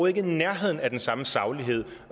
i nærheden af den samme saglighed